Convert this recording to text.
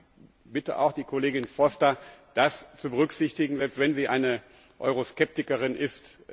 Und ich bitte auch die Kollegin Foster, das zu berücksichtigen, selbst wenn sie eine Euroskeptikerin ist.